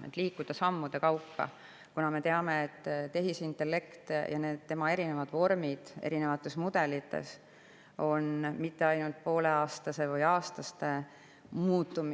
Tuleb liikuda sammude kaupa, kuna me teame, et tehisintellekt ja tema erinevad vormid erinevates mudelites ei muutu mitte ainult poole aasta või aasta jooksul,